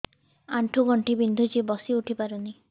ଆଣ୍ଠୁ ଗଣ୍ଠି ବିନ୍ଧୁଛି ବସିଉଠି ପାରୁନି